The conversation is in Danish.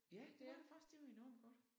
Ja det var det faktisk det var enormt godt